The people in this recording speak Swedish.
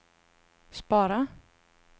spara